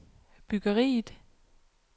byggeriet